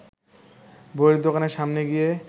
বইয়ের দোকানের সামনে গিয়ে